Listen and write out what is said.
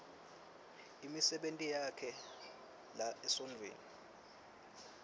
imisebenti yakhe lesemtsetfweni